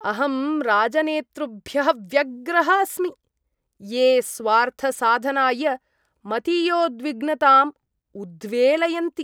अहं राजनेतृभ्यः व्यग्रः अस्मि, ये स्वार्थसाधनाय मतीयोद्विग्नताम् उद्वेलयन्ति।